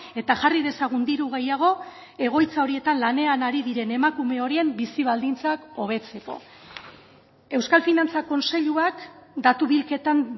eta jarri dezagun diru gehiago egoitza horietan lanean ari diren emakume horien bizi baldintzak hobetzeko euskal finantza kontseiluak datu bilketan